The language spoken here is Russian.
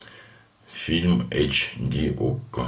фильм эйч ди окко